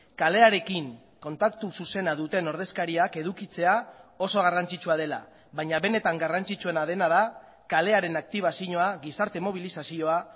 kalearekin kontaktu zuzena duten ordezkariak edukitzea oso garrantzitsua dela baina benetan garrantzitsuena dena da kalearen aktibazioa gizarte mobilizazioa